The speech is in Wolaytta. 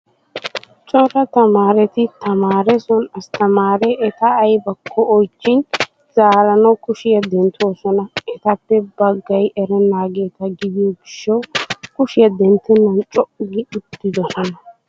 Cora tamaareti tamaare son asttamaare eta ayibakko oyichchin zaaranawu kushiyaa denttoosona. Etaappe baggayi erennaageeta gidiyoo gishshawu kushiyaa denttennan co''u gi uuttidosonaa.